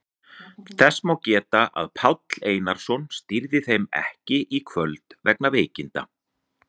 Þess má geta að Páll Einarsson stýrði þeim ekki í kvöld vegna veikinda.